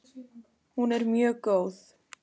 Hún er mjög góð!